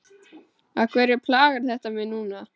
Af hverju plagar þetta mig núna?